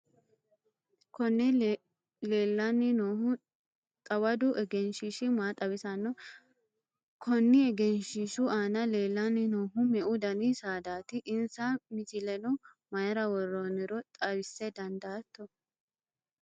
konne leellanni noohu xawadu egenshiishshi maa xawisanno? konni egenshiishshu aana leellanni noohu meu dani saadaati? insa misileno mayiira worroonniro xawisa dandaatto?